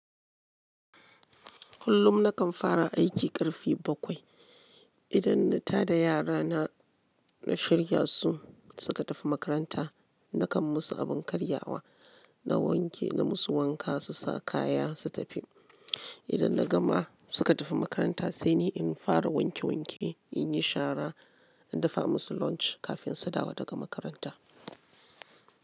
Kullum nakan fara aiki karfe bakwai. Idan na ta da yara na, na shirya su suka tafi makaranta. Nakan musu abin karyawa, na wanke na musu wanka, su sa kaya su tafi. Idan na gama suka tafi makaranta sai ni in fara wanke wanke, in yi shara, in dafa musu lunch kafin su dawo daga makaranta.